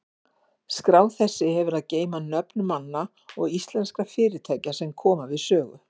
Skrá þessi hefur að geyma nöfn manna og íslenskra fyrirtækja, sem við sögu koma.